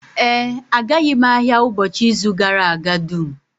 Ee, agaghị m ahịa ụbọchị izu gara aga dum